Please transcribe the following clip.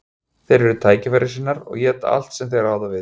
Þeir eru tækifærissinnar og éta allt sem þeir ráða við.